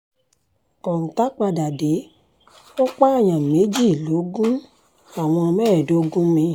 • kọ́ńtà padà dé ó pààyàn méjì lọ́gun àwọn mẹ́ẹ̀ẹ́dógún mi